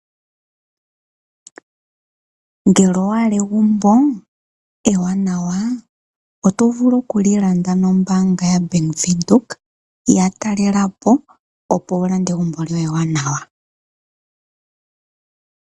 Ngele owa hala egumbo ewanawa , oto vulu okuli landa nombaanga yaBank Windhoek , yatalelepo opo wulande egumbo lye ewanawa.